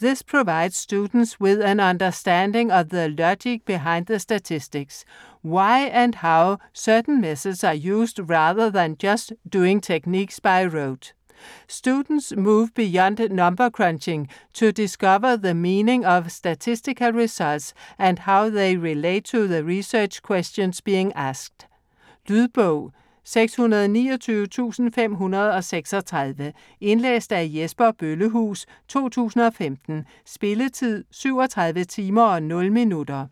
This provides students with an understanding of the logic behind the statistics: why and how certain methods are used rather than just doing techniques by rote. Students move beyond number crunching to discover the meaning of statistical results and how they relate to the research questions being asked. Lydbog 629536 Indlæst af Jesper Bøllehuus, 2015. Spilletid: 37 timer, 0 minutter.